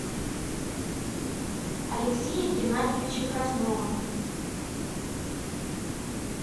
алексея геннадьевича краснова